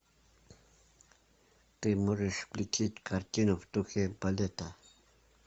ты можешь включить картину в духе балета